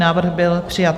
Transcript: Návrh byl přijat.